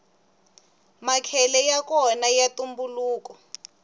makhele yakona ya ntumbuluko